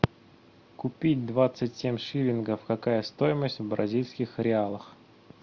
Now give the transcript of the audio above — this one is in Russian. купить двадцать семь шиллингов какая стоимость в бразильских реалах